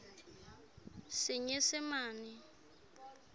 senyesemane